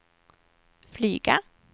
flyga